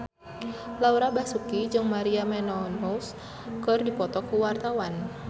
Laura Basuki jeung Maria Menounos keur dipoto ku wartawan